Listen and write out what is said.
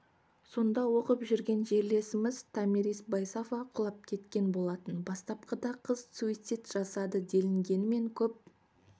сонда оқып жүрген жерлесіміз томирис байсафа құлап кеткен болатын бастапқыда қыз суицид жасады делінгенімен көп